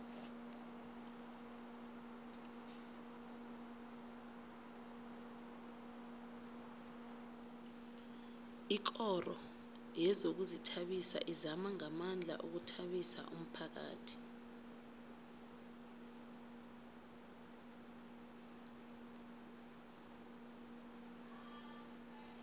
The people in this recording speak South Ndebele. ikoro yezokuzithabisa izama ngamandla ukuthabisa umphakhathi